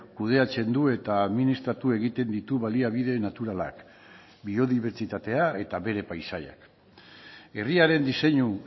kudeatzen du eta administratu egiten ditu baliabide naturalak biodibertsitatea eta bere paisaiak herriaren diseinu